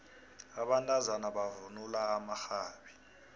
abantazana bavunula amaxhabi